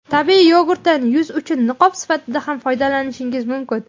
Tabiiy yogurtdan yuz uchun niqob sifatida ham foydalanishingiz mumkin.